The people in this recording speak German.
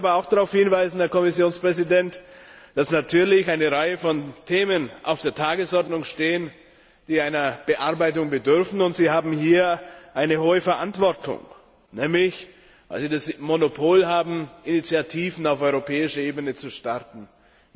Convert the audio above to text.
Ich möchte aber auch darauf hinweisen, Herr Kommissionspräsident, dass natürlich eine Reihe von Themen auf der Tagesordnung stehen, die einer Bearbeitung bedürfen, und Sie haben hier eine große Verantwortung, weil Sie nämlich das Monopol haben, Initiativen auf europäischer Ebene auf den Weg zu bringen.